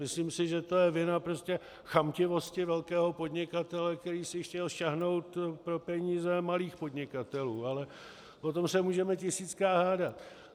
Myslím si, že to je vina prostě chamtivosti velkého podnikatele, který si chtěl sáhnout pro peníze malých podnikatelů, ale o tom se můžeme tisíckrát hádat.